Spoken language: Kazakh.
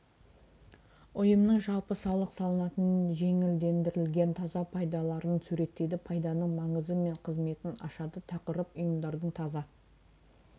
ұйымның жалпы салық салынатын жеңілдендірілген таза пайдаларын суреттейді пайданың маңызы мен қызметін ашады тақырып ұйымдардың таза